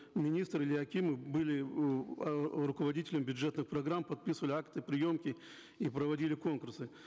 министры или акимы были руководителями бюджетных программ подписывали акты приемки и проводили конкурсы